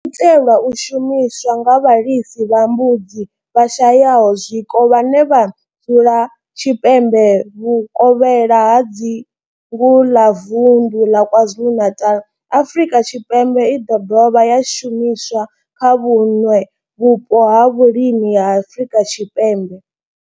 Yo itelwa u shumiswa nga vhalisa vha mbudzi vhashayaho zwiko vhane vha dzula tshipembe vhukovhela ha dzingu ḽa vunḓu ḽa KwaZulu-Natal, Afrika Tshipembe i ḓo dovha ya shumiswa kha vhuṋwe vhupo ha vhulimi ha Afrika Tshipembe.